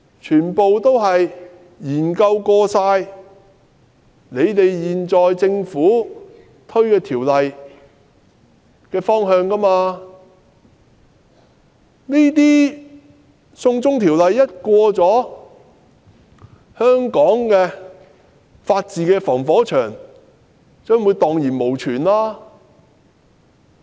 他們曾研究有關政府法案的方向，認為只要"送中條例"獲得通過，香港法治的"防火牆"便會蕩然無存。